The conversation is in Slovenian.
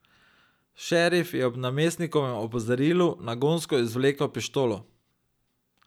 Šerif je ob namestnikovem opozorilu nagonsko izvlekel pištolo.